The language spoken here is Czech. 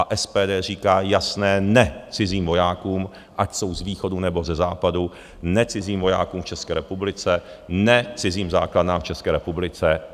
A SPD říká jasné ne cizím vojákům, ať jsou z východu, nebo ze západu, ne cizím vojákům v České republice, ne cizím základnám v České republice.